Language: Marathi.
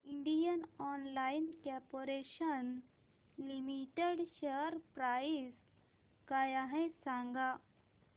Indian oil corporation limited share price काय आहे सांगा